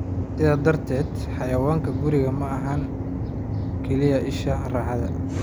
Sidaa darteed, xayawaanka gurigu maaha kaliya isha raaxada.